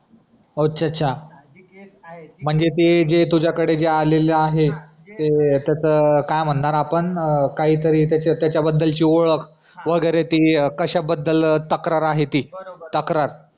अच्छा अच्छा जी केस आहे म्हणजे ती जी तुज कडे आलेली आहे तर त्याचा काय म्हणणार आपण काय तरी त्याचा बदल ची ओळख वगैरे ती कशा बदल तक्रार आहे ती तक्रार